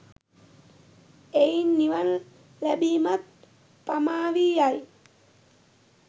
එයින් නිවන් ලැබීමත් පමාවී යයි.